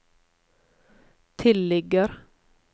tilligger